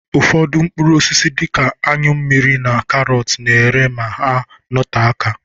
Ụfọdụ mkpụrụ osisi dịka anyụ mmiri na karọt na-ere ma ha note aka.